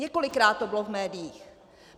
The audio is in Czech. Několikrát to bylo v médiích.